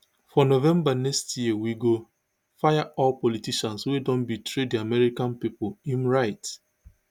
for november next year we go fire all politicians wey don betray di american pipo im write